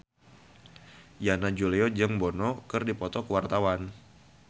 Yana Julio jeung Bono keur dipoto ku wartawan